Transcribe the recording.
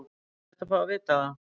Er hægt að fá að vita það?